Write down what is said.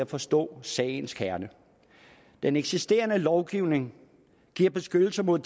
forstået sagens kerne den eksisterende lovgivning giver beskyttelse mod